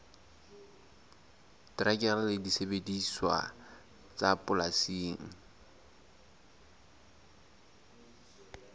terekere le disebediswa tsa polasing